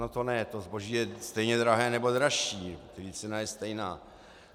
No to ne, to zboží je stejně drahé nebo dražší, cena je stejná.